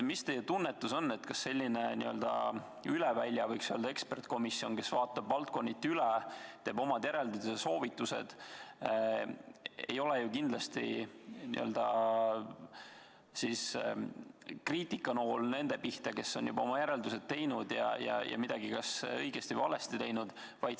Mis teie tunnetus on, kas selline üle välja eksperdikomisjon, kes vaatab valdkonniti üle, teeb omad järeldused ja soovitused, ei ole kriitikanool nende pihta, kes on juba oma järeldused teinud, ja midagi kas õigesti või valesti teinud?